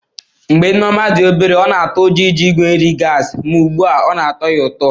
Mgbe Nneoma dị obere, ọ na-atụ ụjọ iji igwe nri gasi ma ugbu a ọ na-atọ ya ụtọ.